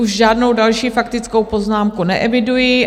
Už žádnou další faktickou poznámku neeviduji.